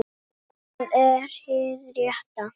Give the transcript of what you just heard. En það er hið rétta.